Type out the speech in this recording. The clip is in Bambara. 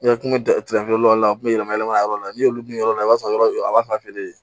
N ka kun bɛ da kɛrɛfɛ a tun bɛ yɛlɛma yɛlɛma yɔrɔ la n'olu dun yɔrɔ la i b'a sɔrɔ yɔrɔ a b'a fan feere